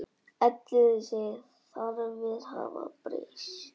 Elliði segir þarfir hafa breyst.